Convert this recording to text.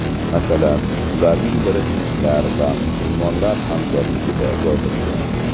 Masalan, ularning biri hindlar va musulmonlar hamkorligida yozilgan.